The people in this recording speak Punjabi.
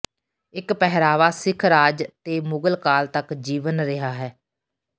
ਇਹ ਪਹਿਰਾਵਾ ਸਿੱਖ ਰਾਜ ਤੇ ਮੁਗਲ ਕਾਲ ਤੱਕ ਜੀਵਨ ਰਿਹਾ ਹੈ